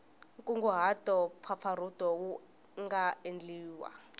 nkunguhato mpfapfarhuto wu nga endliwa